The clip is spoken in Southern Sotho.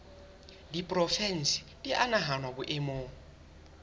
diporofensi di a nahanwa boemong